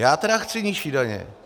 Já tedy chci nižší daně.